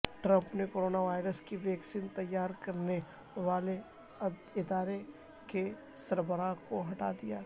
Trump نے corona virus کی vaccine تیار کرنے والے ادارے کے سربراہ کو ہٹا دیا